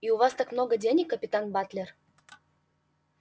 и у вас так много денег капитан батлер